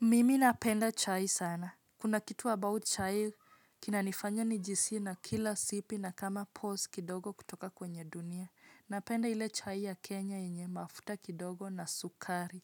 Mimi napenda chai sana. Kuna kitu about chai, kina nifanya ni jihisi na kila sipi na kama pose kidogo kutoka kwenye dunia. Napenda ile chai ya Kenya yenye mafuta kidogo na sukari.